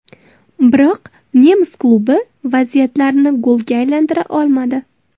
Biroq nemis klubi vaziyatlarini golga aylantira olmadi.